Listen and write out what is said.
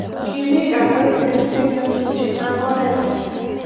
kime kandoitndet en nyasutet ab oret .